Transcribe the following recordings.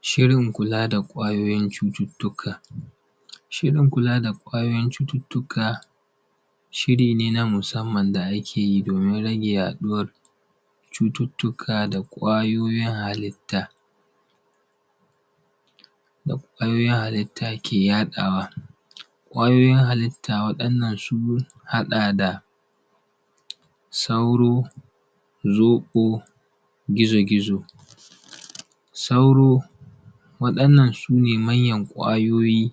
shirin kula da ƙwayoyin cututtuka shirin kula da ƙwayoyin cututtuka shiri ne na musamman da ake yi domin rage yaɗuwar cututtuka da ƙwayoyin halitta ke yaɗawa ƙwayoyin halitta waɗannan sun haɗa da sauro zoƙo gizo gizo sauro waɗannan su ne manyan ƙwayoyin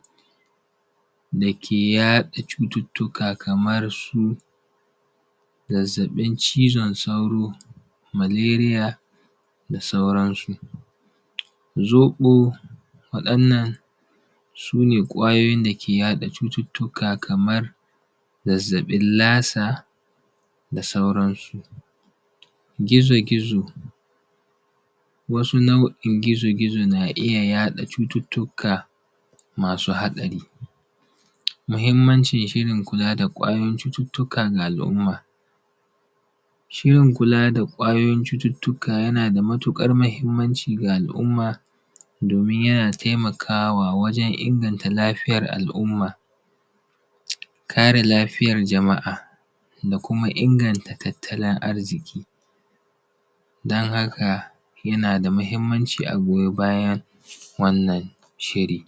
da ke yaɗa cututtuka kamar su zazzaɓin cizon sauro maleriya da sauran su zoƙo waɗannan su ne ƙwayoyin da ke yaɗa cututtuka kamar zazzaɓin lasa da sauransu gizo gizo wasu nau'in gizo gizo na iya yaɗa cututtuka masu hatsari muhimmancin shirin kula da ƙwayoyin cututtuka ga al'umman shirin kula da ƙwayoyin cututtuka yana da matuƙar muhimmanci ga al'umma domin yana taimakawa wajan inganta lafiyar al'umma kare lafiyar jama'a da kuma inganta tattalin arziki don haka yana da muhimmanci a goyi bayan wannan shiri